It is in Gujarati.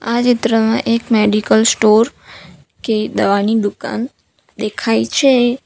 આ ચિત્રમાં એક મેડિકલ સ્ટોર કે દવાની દુકાન દેખાય છે.